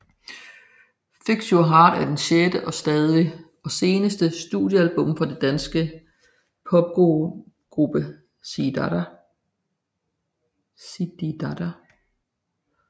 Fix Your Heart er det sjette og seneste studiealbum fra den danske popgruppe Zididada